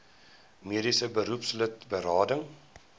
mediese beroepslid berading